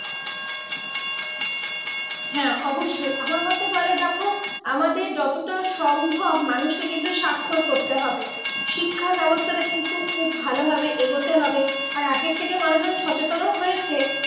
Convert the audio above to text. হ্যাঁ অবশ্যই আমার মতে বলে দেখো আমাদের যতটা সম্ভব মানুষকে কিন্তু স্বাক্ষর করতে হবে। শিক্ষা ব্যবস্থা কিন্তু খুব ভালো ভাবে এগোতে হবে আর আগের থেকে মানুষ অনেক সচেতনও হয়েছে